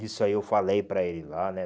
Isso aí eu falei para ele lá, né?